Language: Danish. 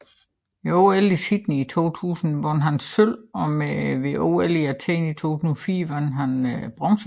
Ved OL i Sydney i 2000 vandt han sølv og ved OL i Athen i 2004 vandt han bronze